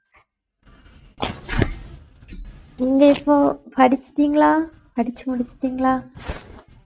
நீங்க இப்போ படிச்சிட்டீங்களா படிச்சு முடிச்சிட்டீங்களா